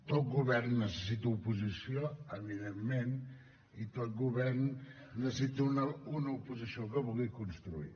tot govern necessita oposició evidentment i tot govern necessita una oposició que vulgui construir